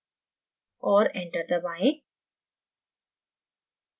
और enter दबाएँ